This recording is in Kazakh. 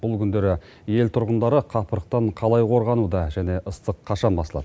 бұл күндері ел тұрғындары қапырықтан қалай қорғануда және ыстық қашан басылады